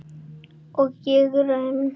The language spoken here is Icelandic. Og ég rym.